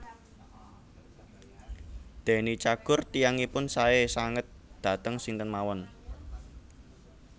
Deny Cagur tiyangipun sae sanget dhateng sinten mawon